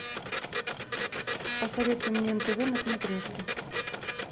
посоветуй мне нтв на смотрешке